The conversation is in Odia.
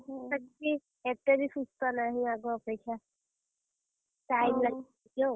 ତାର ବି, ଏତେ ବି ସୁସ୍ଥ ନାହିଁ, ଆଗ ଅପେକ୍ଷା! time ଲାଗିବ ଟିକେ ଆଉ ।